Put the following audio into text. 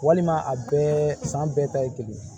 Walima a bɛɛ san bɛɛ ta ye kelen ye